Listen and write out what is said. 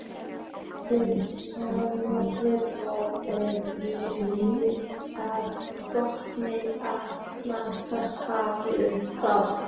Til samanburðar er snið af botni Atlantshafsins frá